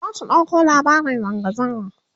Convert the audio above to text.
za su ɗauko labarin zanga zanga